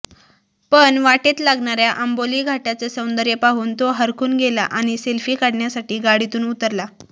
पण वाटेत लागणाऱ्या आंबोली घाटाचं सौंदर्य पाहून तो हरखून गेला आणि सेल्फी काढण्यासाठी गाडीतून उतरला